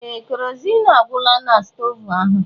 Ee! Keroziin agwụla na stoovu ahụ.